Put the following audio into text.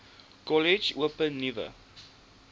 kollege open nuwe